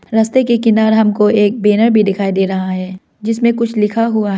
रास्ते के किनार हमको एक बैनर भी दिखाई दे रहा है जिसमे कुछ लिखा हुआ--